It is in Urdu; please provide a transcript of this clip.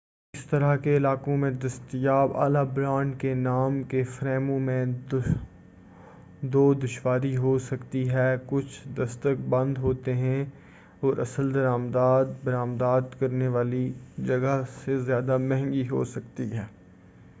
اس طرح کے علاقوں میں دستیاب اعلی برانڈ کے نام کے فریموں میں دو دشواری ہوسکتی ہے کچھ دستک بند ہو سکتے ہیں اور اصل درآمدات برآمدات کرنے والی جگہ سے زیادہ مہنگی ہوسکتی ہیں